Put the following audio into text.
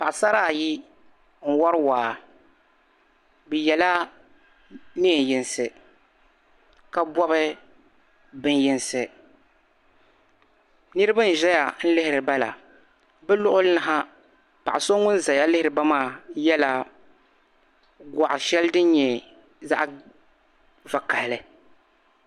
paɣasara ayi n wari waa bɛ yɛla neen yinsi ka bɔbi bɛni yinsi niriba n zaya lihiriba la bɛ lɔɣili ni ha paɣ'so ŋuni zaya lihiriba yɛla gɔɣi shɛli din nyɛ zaɣ'vakahili